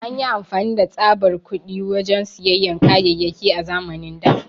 An yi amfani da tsaɓar kuɗi wajen siyan kayayaki a zamanin da.